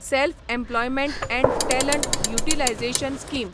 self employment and talent utilisation scheme